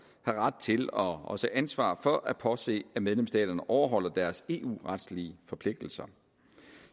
har ret til og også ansvar for at påse at medlemsstaterne overholder deres eu retlige forpligtelser